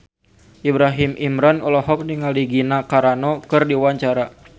Ibrahim Imran olohok ningali Gina Carano keur diwawancara